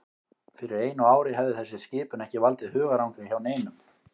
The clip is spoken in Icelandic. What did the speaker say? Fyrir einu ári hefði þessi skipun ekki valdið hugarangri hjá neinum.